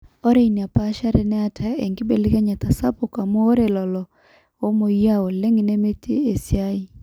ore ina paashari neeta enkibelekenyata sapuk amu ore lelo oomweyiaa oleng nemetii esia